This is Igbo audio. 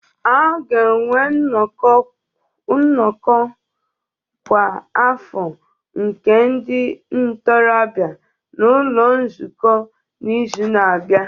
A ga-enwe nnọkọ kwa afọ nke ndị ntorobịa n'ụlọ nzukọ n'izu na-abịa